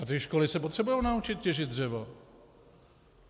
A ty školy se potřebují naučit těžit dřevo.